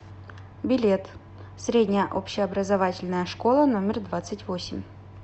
билет средняя общеобразовательная школа номер двадцать восемь